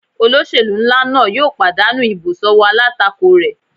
Olóṣèlú nlá náà yóò pàdánù ìbò sọ́wọ́ alátakò rẹ̀